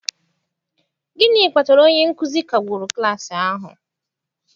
gịnị kpatara onye nkuzi kagburu klas ahụ?